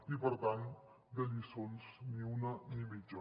i per tant de lliçons ni una ni mitja